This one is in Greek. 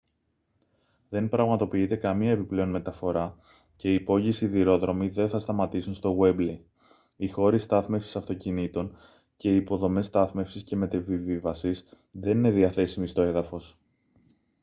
δεν πραγματοποιείται καμία επιπλέον μεταφορά και οι υπόγειοι σιδηρόδρομοι δεν θα σταματήσουν στο γουέμπλεϊ οι χώροι στάθμευσης αυτοκινήτων και οι υποδομές στάθμευσης και μετεπιβίβασης δεν είναι διαθέσιμοι στο έδαφος